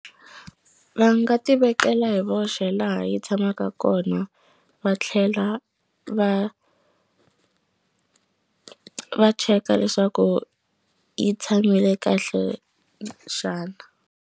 Va nga tivekela hi voxe laha yi tshamaka kona va tlhela va va cheka leswaku yi tshamile kahle xana.